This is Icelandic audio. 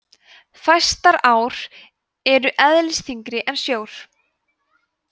fæstar ár eru eðlisþyngri en sjór